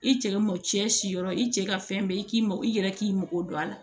I cɛ mɔcɛ si yɔrɔ i cɛ ka fɛn bɛɛ i k'i mago i yɛrɛ k'i mago don a la